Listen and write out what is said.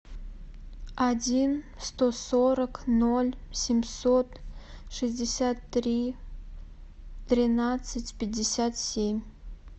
один сто сорок ноль семьсот шестьдесят три тринадцать пятьдесят семь